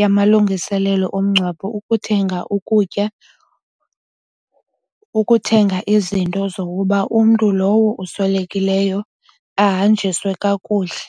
yamalungiselelo omngcwabo ukuthenga ukutya, ukuthenga izinto zokuba umntu lowo oswelekileyo ahanjiswe kakuhle.